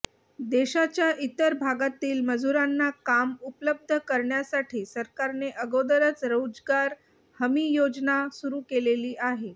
देशाच्या इतर भागातील मजुरांना काम उपलब्ध करण्यासाठी सरकारने अगोदरच रोजगार हमी योजना सुरू केलेली आहे